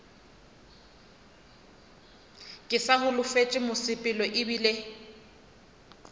ke sa holofetše mosepelo ebile